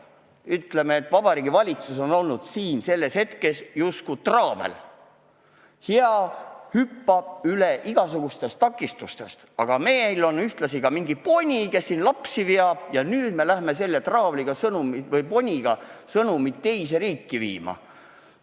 Ütleme nii, et Vabariigi Valitsus on siin olnud justkui hea traavel, kes hüppab üle igasugustest takistustest, aga meil on ka mingisugune poni, kes veab lapsi, ja nüüd me lähemegi selle poniga sõnumit teise riiki viima.